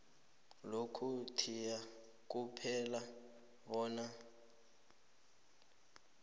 lokuthiya kuphela bona